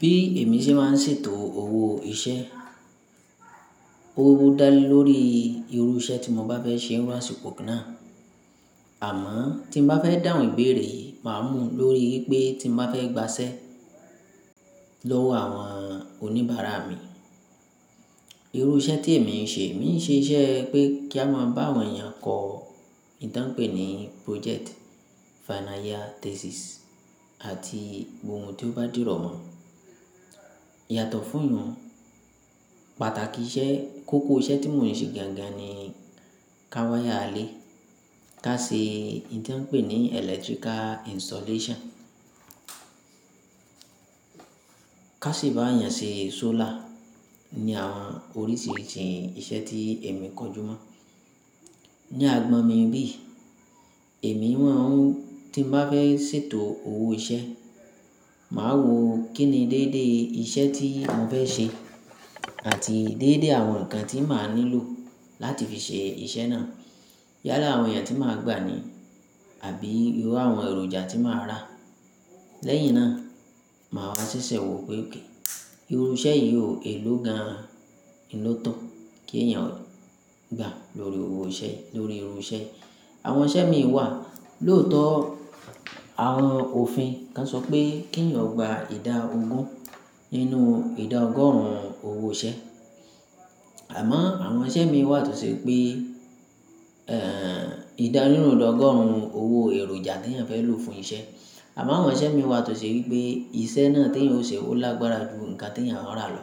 Bí èmi ṣe máa ń ṣètò owó iṣẹ́, ó wó dá lé lórí irú iṣẹ́ tí mo bá fẹ́ ṣe ní àsìkò kan náà. Àmọ́ tí n bá fẹ́ dàhun ìbéèrè yii máa mú lórí wípé tí n bá fẹ́ gbaṣẹ́ lọ́wọ́ àwọn oníbàárà mi. Irú iṣẹ́ tí èmi ń ṣe, mi ń ṣe iṣẹ́ pé kí a máa bá àwọn èèyàn kọ ìtàn pè ní project, final year thesis àti ohun tí ó bá dúró mọ. Yàtọ̀ fún ìyunun pàtàkì iṣẹ́, kókó iṣẹ́ tí mò ń ṣe gangan ni ká wáyà ilé, ká ṣe oun ti wọn n pè ní electrical installation, ká sì bá èèyàn ṣe solar ni àwọn oríṣiríṣi iṣẹ́ tí èmi kọjú mọ̀. Ní àgbọ̀n mi bí, èmi mọ̀ n tí n bá fẹ́ ṣètò owó iṣẹ́, màá wo kínni déédé iṣẹ́ tí mò fẹ́ ṣe àti déédé àwọn ǹkan tí màá nílò láti fi ṣe iṣẹ́ náà. Yálà àwọn èèyàn tí màá gbà ni àbí irú àwọn èròjà tí màá rà. Lẹ́yìn náà, màá wá ṣẹ̀ṣẹ̀ wò ó pé ok. Irú iṣẹ́ yìí o èló gan-an un ló tó kí èèyàn ó gbà lórí owó iṣẹ́, lórí irú iṣẹ́. Àwọn iṣẹ́ mi wà lóòtọ́ àwọn òfin kan sọ pé kí ẹ̀yàn o gba ìdá ogún nínú ìdá ọgọ́rùn ún owó iṣẹ́. Àmọ́ àwọn iṣẹ́ mi wà tó ṣe pé, ẹ́ẹ̀, ìdá nínú ìdá ọgọ́rùn ún owó èròjà tí èèyàn fẹ́ lò fún iṣẹ́. Àmọ́ àwọn iṣẹ́ mi wà tó ṣe wípé iṣẹ́ náà tí èèyàn ó ṣe ó lágbára ju nǹkan tí èèyàn ó rà lọ.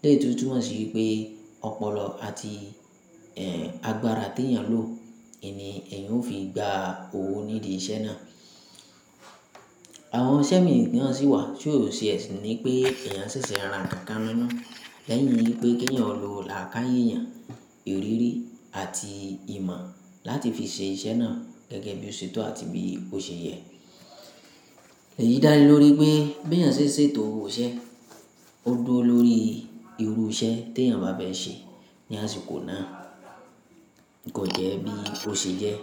Ní èyí tó túmọ̀ sí wípé ọpọlọ àti, ẹ́ẹ̀, agbára tí èèyàn lò, n ni èèyàn ó fi gba owó nídìí iṣẹ́ náà. Àwọn iṣẹ́ mi náà sì wà tí ó sì ẹ́ ṣi ní pé èèyàn ṣẹ̀ṣẹ̀ ra nǹkan mọ lẹ́yìn wípé kí ẹ̀yàn lo làákáyèèyàn, ìrírí àti ìmọ̀ láti fi ṣe iṣẹ́ náà gẹ́gẹ́ bí ó ṣetán àti bí ó ṣe yẹ. Èyí dá lé lórí pé bí èèyàn ṣe ń ṣètò owó iṣẹ́, ó dúró lórí irú iṣẹ́ tí èèyàn bá fẹ́ ṣe ní àsìkò náà. Kò jẹ́ bí ó ṣe jẹ́